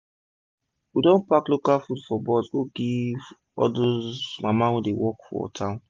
we don pack local farm food for box to go give all dos mama dem wey dey work for town